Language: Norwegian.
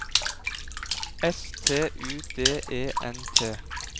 S T U D E N T